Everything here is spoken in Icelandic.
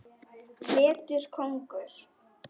Vetur kóngur.